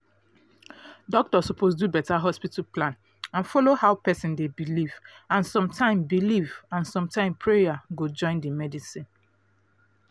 doctor suppose do better hospital plan and follow how person dey believe and sometime believe and sometime prayer go join the medicine